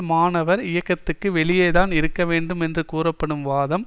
மாணவர் இயக்கத்திற்கு வெளியே தான் இருக்க வேண்டும் என்று கூறப்படும் வாதம்